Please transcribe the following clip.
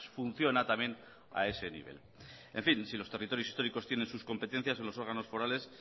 funciona también a ese nivel en fin si los territorios históricos tienen sus competencias en los órganos forales